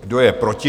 Kdo je proti?